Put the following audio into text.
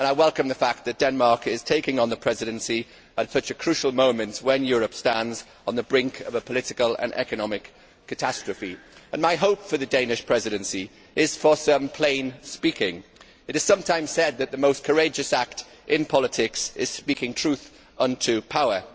I welcome the fact that Denmark is taking on the Presidency at such a crucial moment, when Europe stands on the brink of a political and economic catastrophe. My hope for the Danish Presidency is for some plain speaking. It is sometimes said that the most courageous act in politics is speaking truth unto power.